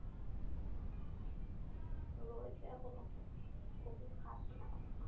রয়েছে এখনো, ওষুধ খাচ্ছি।